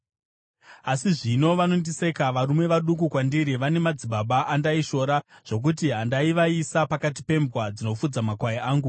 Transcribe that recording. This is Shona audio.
“Asi zvino vanondiseka, varume vaduku kwandiri, vane madzibaba andaishora zvokuti handaivaisa pakati pembwa dzinofudza makwai angu.